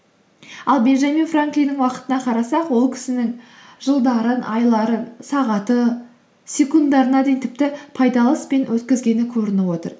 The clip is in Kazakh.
ал бенджамин франклиннің уақытына қарасақ ол кісінің жылдарын айларын сағаты секундтарына дейін тіпті пайдалы іспен өткізгені көрініп отыр